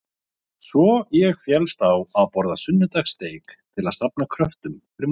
Svo ég fellst á að borða sunnudagssteik til að safna kröftum fyrir mótmælin.